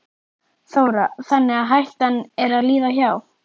Þóra: Þannig að hættan er að líða hjá?